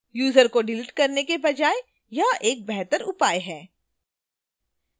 user को delete करने के बजाय यह एक बेहतर उपाय है